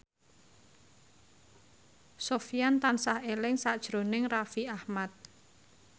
Sofyan tansah eling sakjroning Raffi Ahmad